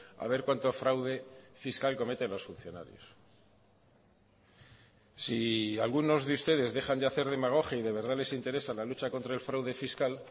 a ver cuánto fraude fiscal cometen los funcionarios si algunos de ustedes dejan de hacer demagogia y de verdad les interesa la lucha contra el fraude fiscal